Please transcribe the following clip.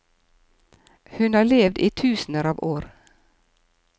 Hun har levd i tusener av år.